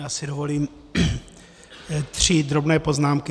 Já si dovolím tři drobné poznámky.